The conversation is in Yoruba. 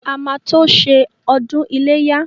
A máa tó ṣe ọdún iléyá.